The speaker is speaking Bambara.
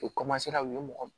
U u ye mɔgɔ